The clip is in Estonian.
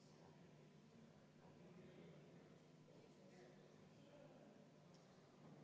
Siis on kümme minutit vaheaega.